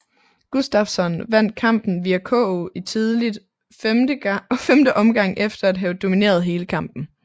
Gustafsson vandt kampen via KO i tidligt femte omgang efter at have domineret hele kampen